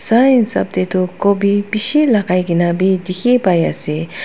sua hisab te tu gobi bisi lagai kine bhi dekhi pai ase.